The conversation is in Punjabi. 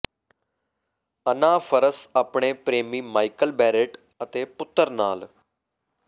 ਅਨਾ ਫ਼ਰਸ ਆਪਣੇ ਪ੍ਰੇਮੀ ਮਾਈਕਲ ਬੇਰੇਟ ਅਤੇ ਪੁੱਤਰ ਨਾਲ